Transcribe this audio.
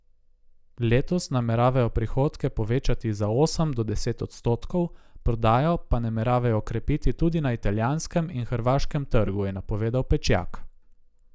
Letos nameravajo prihodke povečati za osem do deset odstotkov, prodajo pa nameravajo okrepiti tudi na italijanskem in hrvaškem trgu, je napovedal Pečjak.